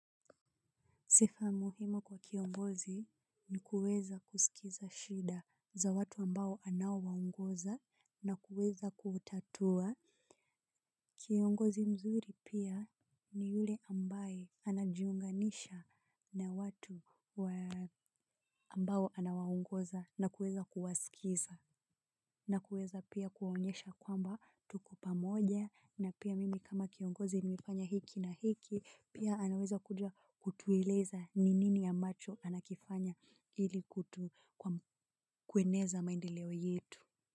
Sifa muhimu kwa kiongozi ni kuweza kusikiliza shida za watu ambao anawaongoza na kuweza kutatua. Kiongozi mzuri pia ni yule ambaye anajiunganisha na watu ambao anawaongoza na kuweza kuwasikiliza. Na kuweza pia kuonyesha kwamba tuko pamoja na pia mimi kama kiongozi nimefanya hiki na hiki pia anaweza kutueleza ni nini ya ambacho anakifanya ili kutu kueneza maendeleo yetu.